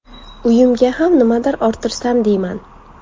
Uyimga ham nimadir orttirsam deyman.